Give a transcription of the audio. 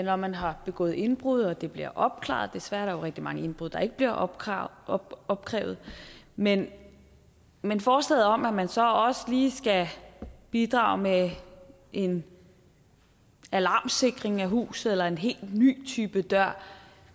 når man har begået indbrud og det bliver opklaret desværre er der jo rigtig mange indbrud der ikke bliver opklaret opklaret men men forslaget om at man så også lige skal bidrage med en alarmsikring af huset eller en helt ny type dør